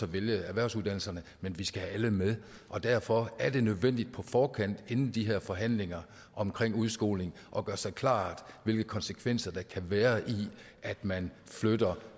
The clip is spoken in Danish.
vælge erhvervsuddannelserne men vi skal have alle med og derfor er det nødvendigt på forkant inden de her forhandlinger om udskoling at gøre sig klart hvilke konsekvenser der kan være ved at man flytter